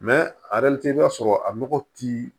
i b'a sɔrɔ a nɔgɔ ti